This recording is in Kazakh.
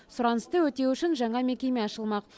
сұранысты өтеу үшін жаңа мекеме ашылмақ